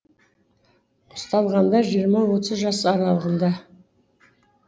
ұсталғандар жиырма отыз жас аралығында